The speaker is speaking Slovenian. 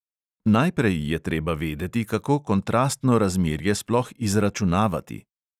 Najprej je treba vedeti, kako kontrastno razmerje sploh izračunavati.